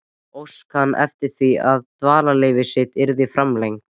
Óskaði hann eftir því, að dvalarleyfi sitt yrði framlengt.